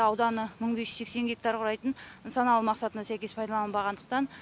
ауданы мың бес жүз сексен гектар құрайтын нысаналы мақсатына сәйкес пайдаланбағандықтан